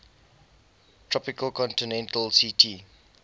tropical continental ct